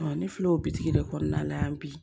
ne filɛ o bitigi de kɔnɔna la yan bi